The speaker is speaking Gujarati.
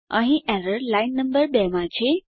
અહીં એરર લાઈન નંબર 2 માં છે